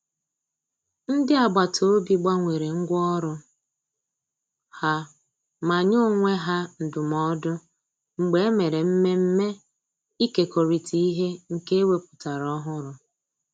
Ndị agbataobi gbanwere ngwa ọrụ ha ma nye onwe ha ndụmọdụ mgbe e mere mmemme ikekorita ihe nke e wepụtara ọhụrụ